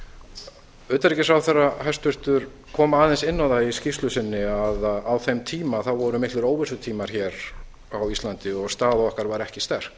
hæstvirtur utanríkisráðherra kom aðeins inn á það í skýrslu sinni að á þeim tíma voru miklir óvissutímar hér á íslandi og staða okkar var ekki sterk